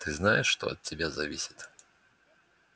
ты знаешь что от тебя зависит